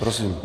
Prosím.